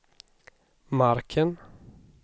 marken